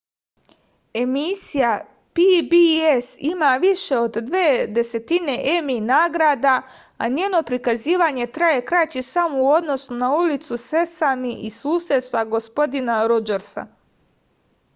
emisija pbs ima više od dve desetine emi nagrada a njeno prikazivanje traje kraće samo u odnosu na ulicu sesami i susedstva gospodina rodžersa